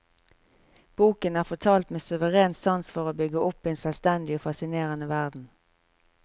Boken er fortalt med suveren sans for å bygge opp en selvstendig og fascinerende verden.